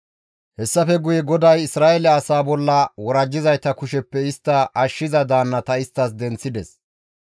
Hessafe guye GODAY Isra7eele asaa bolla worajjizayta kusheppe istta ashshiza daannata isttas denththides;